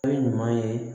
Fɛn ɲuman ye